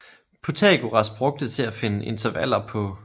Pythagoras brugte til at finde intervaller på